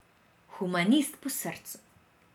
Humanist po srcu.